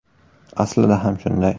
Aslida ham shunday”.